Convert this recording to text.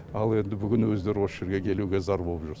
ал енді бүгін өздері осы жерге келуге зар болып жүр